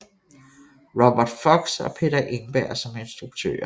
Robert Fox og Peter Engberg som instruktører